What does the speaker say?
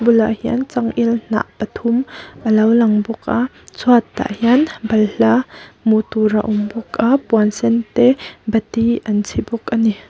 bulah hian changel hnah pathum a lo lang bawk a chhuatah hian balhla a hmuh tur a awm bawk a puan sen te bati an chhi bawk a ni.